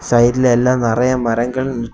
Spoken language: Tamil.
சைடுல எல்லாம் நெறைய மரங்கள்.